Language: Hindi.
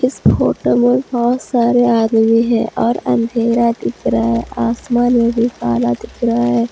इस फोटो में बहोत सारे आदमी है और अंधेरा दिख रहा है आसमान में भी काला दिख रहा है।